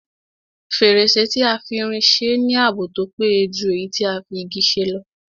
Fèrèsé tí a fi irin se ní ààbò tó péye jù èyí tí a fi Igi ṣe lọ